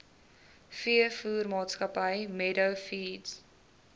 veevoermaatskappy meadow feeds